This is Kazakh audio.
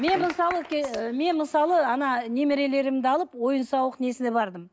мен мысалы мен мысалы ана немерелерімді алып ойын сауық несіне бардым